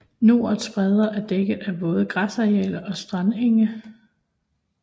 Norets bredder er dækket af våde græsarealer og strandenge